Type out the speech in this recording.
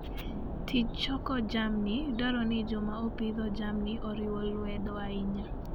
Tij choko jamni dwaro ni joma opidho jamni oriw lwedo ahinya.